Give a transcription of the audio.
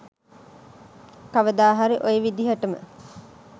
කවදාහරි ඔය විදිහටම